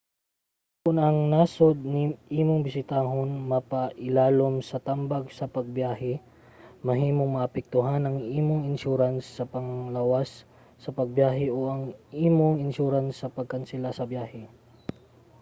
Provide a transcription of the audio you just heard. kon ang nasud nga imong bisitahon mapailalom sa tambag sa pagbiyahe mahimong maapektuhan ang imong insurance sa panglawas sa pagbiyahe o ang imong insurance sa pagkansela sa biyahe